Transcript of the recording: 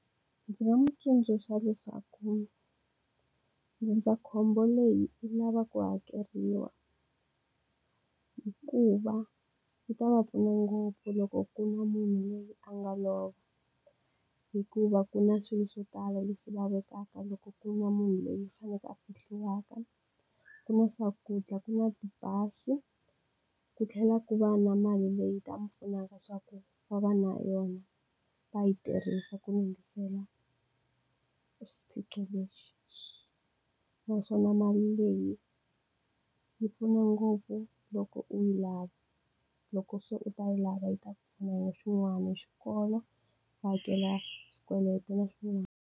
Ndzi nga n'wi tsundzuxa leswaku ndzindzakhombo leyi yi lava ku hakeriwa. Hikuva yi ta va pfuna ngopfu loko ku ri na munhu loyi a nga lova, hikuva ku na swilo swo tala leswi lavekaka loko ku ri na munhu loyi a faneleke a fihliwaka. Ku na swakudya, ku na tibazi ku tlhela ku va na mali leyi nga ta mi pfunaka leswaku va va na yona, va yi tirhisa ku lunghisela swiphiqo lexi. Naswona mali leyi yi pfuna ngopfu loko u yi lava, loko se u ta lava yi ta ku pfuna hi swin'wana, hi xikolo, wa hakela xikweleti na swin'wana.